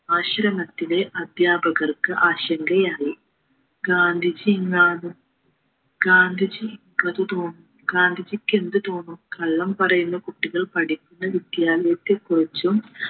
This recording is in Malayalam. ആശ്രമത്തിലെ അദ്യാപകർക്ക് ആശങ്കയായി ഗാന്ധിജി എന്നാലും ഗാന്ധിജിക്ക് അത് തോന്നും ഗാന്ധിജിക്ക് എന്ത് തോന്നും കള്ളം പറയുന്ന കുട്ടികൾ പഠിക്കുന്ന വിദ്യാലയത്തിൽ കുറിച്ചും